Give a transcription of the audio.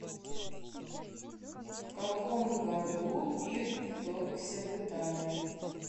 в каком году пирр вторгся в италию